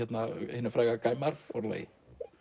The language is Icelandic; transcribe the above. hinu fræga forlagi